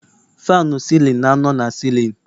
Faanụ sịlịn na-anọ na sịlịn